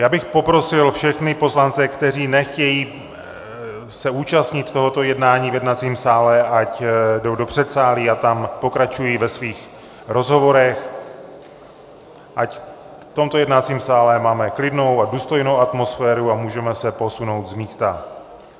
Já bych poprosil všechny poslance, kteří nechtějí se účastnit tohoto jednání v jednacím sále, ať jdou do předsálí a tam pokračují ve svých rozhovorech, ať v tomto jednacím sále máme klidnou a důstojnou atmosféru a můžeme se posunout z místa.